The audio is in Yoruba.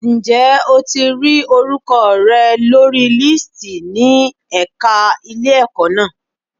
Ǹjẹ́ o ti rí orúkọ rẹ lórí lísìtì ní ẹ̀ka ilé-ẹ̀kọ́ na.